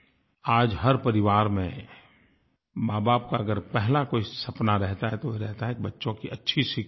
आज हर परिवार में माँबाप का अगर पहला कोई सपना रहता है तो वो रहता है बच्चों की अच्छी शिक्षा